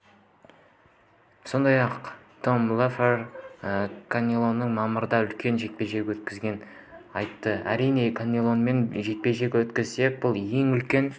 сондай-ақ том леффлер канелоның мамырда үлкен жекпе-жек өткізетінін айтты әрине канеломен жекпе-жек өткізсек бұл ең үлкен